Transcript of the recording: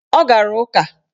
Ọ gara ụka